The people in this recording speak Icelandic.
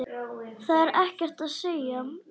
Það er ekkert að segja.